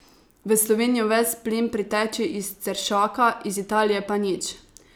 V Slovenijo ves plin priteče iz Ceršaka, iz Italije pa nič.